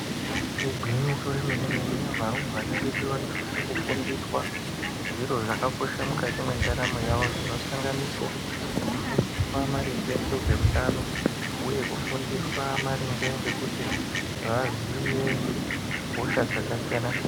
Igwinyiso remenemene varumbwana vedu vanosise kufundiswa zviro zvakakosha mukati mwendaramo yawo, zvinosanganisira kufundiswa maringe ngezveutano, uye kufundiswa maringe ngekuti vaziye hosha dzakasiyana -siyana.